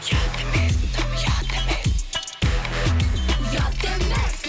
ұят емес дым ұят емес ұят емес